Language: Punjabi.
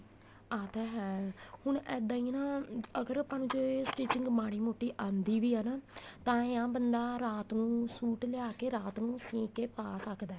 ਆ ਤਾਂ ਹੈ ਹੁਣ ਇੱਦਾਂ ਈ ਨਾ ਅਗਰ ਆਪਾਂ ਨੂੰ ਜੇ stitching ਮਾੜੀ ਮੋਟੀ ਆਂਦੀ ਵੀ ਏ ਨਾ ਤਾਂ ਏ ਆਹ ਬੰਦਾ ਰਾਤ ਨੂੰ suite ਲਿਆ ਕੇ ਰਾਤ ਨੂੰ ਸਿਉਂ ਕੇ ਪਾ ਸਕਦਾ